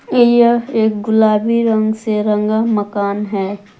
यह एक गुलाबी रंग से रंगा मकान है।